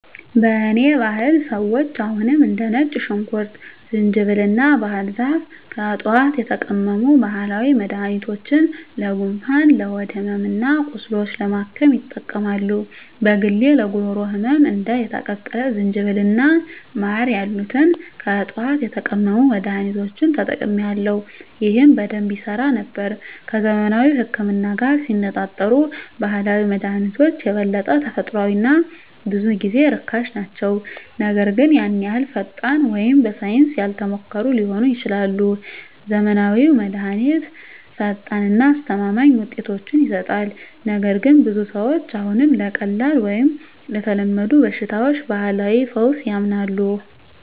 በእኔ ባህል ሰዎች አሁንም እንደ ነጭ ሽንኩርት፣ ዝንጅብል እና ባህር ዛፍ ከዕፅዋት የተቀመሙ ባህላዊ መድኃኒቶችን ለጉንፋን፣ ለሆድ ሕመም እና ቁስሎች ለማከም ይጠቀማሉ። በግሌ ለጉሮሮ ህመም እንደ የተቀቀለ ዝንጅብል እና ማር ያሉትን ከዕፅዋት የተቀመሙ መድኃኒቶችን ተጠቅሜአለሁ፣ ይህም በደንብ ይሠራ ነበር። ከዘመናዊው ህክምና ጋር ሲነፃፀሩ ባህላዊ መድሃኒቶች የበለጠ ተፈጥሯዊ እና ብዙ ጊዜ ርካሽ ናቸው, ነገር ግን ያን ያህል ፈጣን ወይም በሳይንስ ያልተሞከሩ ሊሆኑ ይችላሉ. ዘመናዊው መድሃኒት ፈጣን እና አስተማማኝ ውጤቶችን ይሰጣል, ነገር ግን ብዙ ሰዎች አሁንም ለቀላል ወይም ለተለመዱ በሽታዎች ባህላዊ ፈውስ ያምናሉ.